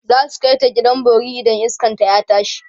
zasu kaita gidan bori idan iskan ta ya tashi